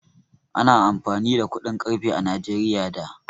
Ana amfani da kuɗin ƙarfe a Najeriya da.